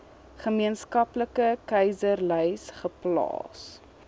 gemeenskaplike kieserslys geplaas